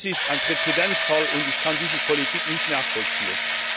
Dies ist ein Präzedenzfall, und ich kann diese Politik nicht nachvollziehen.